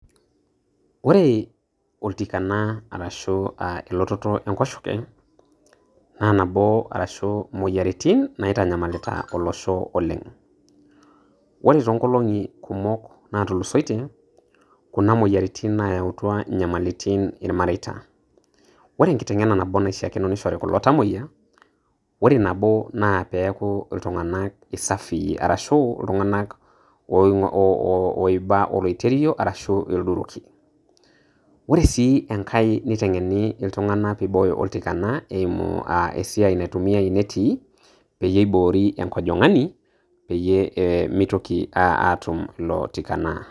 Ore oltikana arashu elototo enkoshoke na nabo ashu imoyiaritin naitanyamalita olosho oleng, ore tonkolongi kumok natulusoyie na kuna moyiaritin nayautua ilanyamalitin ilmareita, ore enkitengena nabo naishakino nishori kulo tamoyiak, ore nabo na piaku iltungana safi ashu eaku iltungana oiba olererio ashu ilduriki ore si enkae nitengeni iltunganaapiboyo oltikana eimu aah esiai naitumiyai inetii peyie ibori enkojingani peyie mitoki atum ilo tikana.